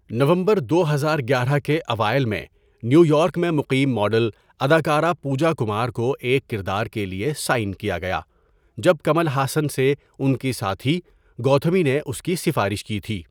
نومبر دو ہزار گیارہ کے اوائل میں، نیویارک میں مقیم ماڈل اداکارہ پوجا کمار کو ایک کردار کے لیے سائن کیا گیا جب کمل ہاسن سے ان کے ساتھی، گوتھامی، نے اس کی سفارش کی تھی۔